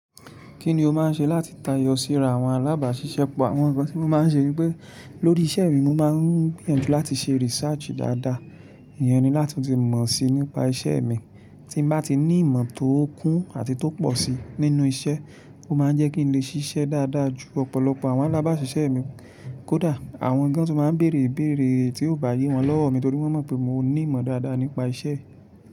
Kí ni o máa ń ṣe láti tayọ síra àwọn alábàáṣiṣẹ́ pọ̀? Àwọn nǹkan tí mo máa ń ṣe wípé lórí iṣẹ́ mi mo máa ń gbìyànjú láti ṣe research dáadáa. Ìyẹn ni láti tún ti mọ̀ sí nípa iṣẹ́ mi. Tí n bá ti ní ìmọ̀ tó kún àti tó pọ̀ sí nínú iṣẹ́, ó máa ń jẹ́ kí n lè ṣiṣẹ́ dáadáa ju ọ̀pọ̀lọpọ̀ àwọn alábáṣiṣẹ́ mi. Kódà àwọn gan tun máa ń bèrè ibéèrè tí ò bá yé wọn lọ́wọ́ mi nítorí wọ́n mọ̀ pé mo ní ìmọ̀ dáadáa nípa iṣẹ́.